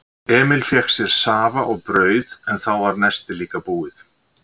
Emil fékk sér safa og brauð en þá var nestið líka búið.